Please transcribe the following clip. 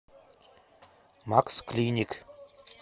максклиник